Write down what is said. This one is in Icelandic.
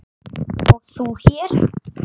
og þú hér?